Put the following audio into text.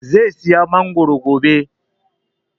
Zai saya mangoro gobe